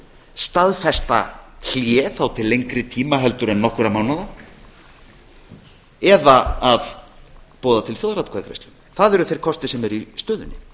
staðfesta hlé þá til lengri tíma heldur en nokkurra mánaða heldur en nokkurra mánaða eða að boða til þjóðaratkvæðagreiðslu það eru þeir kostir sem eru í stöðunni